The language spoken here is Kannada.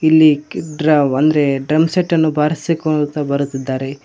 ಇಲ್ಲಿ ಕಿಟ್ರಾವ್ ಅಂದ್ರೆ ಡ್ರಮ್ಸೆಟ್ಟನ್ನು ಬಾರಿಸಿಕೊಳ್ಳುತ್ತಾ ಬರುತ್ತಿದ್ದಾರೆ.